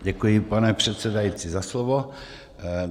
Děkuji, pane předsedající, za slovo.